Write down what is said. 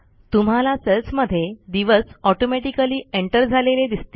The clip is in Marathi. तुम्हाला सेल्समध्ये दिवस ऑटोमॅटिकली एंटर झालेले दिसतील